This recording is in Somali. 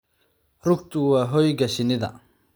rugtu waa hoyga shinnida.